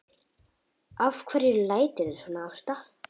Af hverju læturðu svona Ásta?